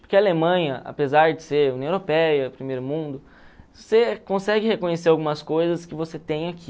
Porque a Alemanha, apesar de ser União Europeia, Primeiro Mundo, você consegue reconhecer algumas coisas que você tem aqui.